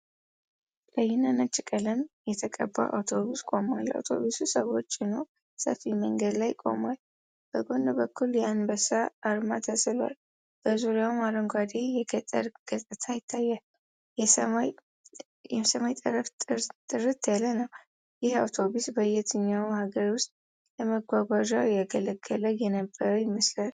ቀይና ነጭ ቀለም የተቀባ አውቶቡስ ቆሟል። አውቶቡሱ ሰዎች ጭኖ ሰፊ መንገድ ላይ ቆሟል።። በጎን በኩል የአንበሳ አርማ ተስሏል። በዙሪያው አረንጓዴ የገጠር ገጽታ ይታያል። የሰማይ ጠፈር ጥርት ያለ ነው። ይህ አውቶቡስ በየትኛው ሀገር ውስጥ ለመጓጓዣ ያገለግል የነበረ ይመስላል?